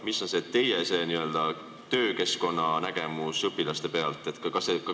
Mis on see teie n-ö töökeskkonnanägemus õpilaste pealt?